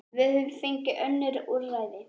Við höfum engin önnur úrræði.